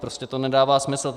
Prostě to nedává smysl.